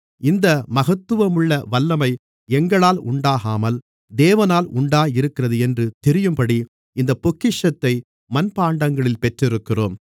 இந்த மகத்துவமுள்ள வல்லமை எங்களால் உண்டாகாமல் தேவனால் உண்டாகியிருக்கிறது என்று தெரியும்படி இந்தப் பொக்கிஷத்தை மண்பாண்டங்களில் பெற்றிருக்கிறோம்